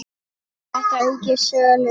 Þetta auki söluna.